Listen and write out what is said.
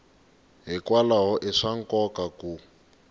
hikwalaho i swa nkoka ku